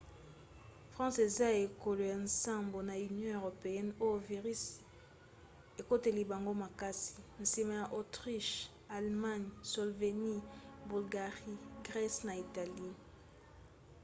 france eza ekolo ya nsambo na union européenne oyo virisi ekoteli bango makasi; nsima ya autriche allemagne slovénie bulgarie grèce na italie